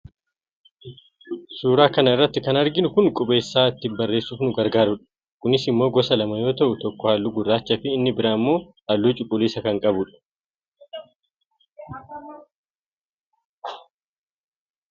suuraa kana irratti kan arginu kun qubeessaa ittiin barreessuuf nu gargaaru dha. kunis immoo gosa lama yoo ta'u tokko halluu gurraachaa fi inni biraan immoo halluu cuquliisa kan qabu dha.